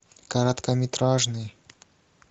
короткометражный